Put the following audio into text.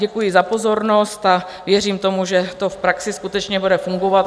Děkuji za pozornost a věřím tomu, že to v praxi skutečně bude fungovat.